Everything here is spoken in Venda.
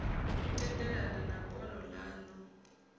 u tendelana na bono lanu